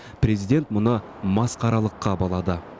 президент мұны масқаралыққа балады